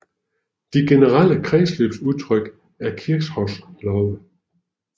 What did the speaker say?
De generelle kredsløbsudtryk er Kirchhoffs love